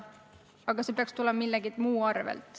Aga jah, see peaks tulema millegi muu arvel.